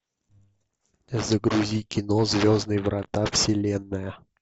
загрузи кино звездные врата вселенная